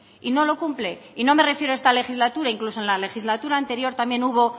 y no lo cumple y no me refiero a esta legislatura incluso en la legislatura anterior también hubo